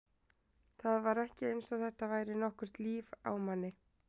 Það var ekki eins og þetta væri nokkurt líf á manni.